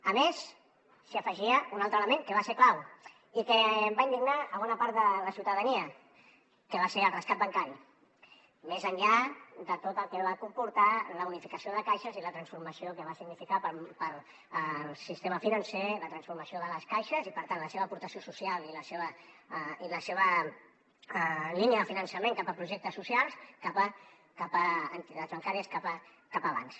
a més s’hi afegia un altre element que va ser clau i que va indignar bona part de la ciutadania que va ser el rescat bancari més enllà de tot el que va comportar la unificació de caixes i la transformació que va significar per al sistema financer la transformació de les caixes i per tant la seva aportació social i la seva línia de finançament cap a projectes socials cap a entitats bancàries cap a bancs